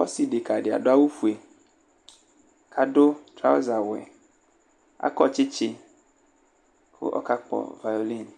Ɔsɩ dekǝ dɩ adʋ aɣʋ ofue Adʋ traʋza aɣʋ yɛ Akɔ tsɩtsɩ, kʋ ɔka kpɔ vayolinɩ,